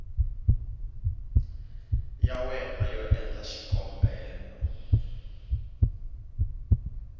ya wena yo endla xikombelo